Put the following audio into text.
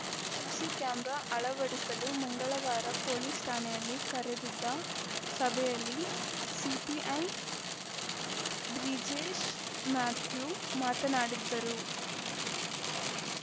CC camera ಅಳವಡಿಸಲು ಮಂಗಳವಾರ police ಠಾಣೆಯಲ್ಲಿ ಕರೆದಿದ್ದ ಸಭೆಯಲ್ಲಿ ಸಿಪಿಐ ಬ್ರಿಜೇಶ್‌ ಮ್ಯಾಥ್ಯೂ ಮಾತನಾಡಿದ್ದರು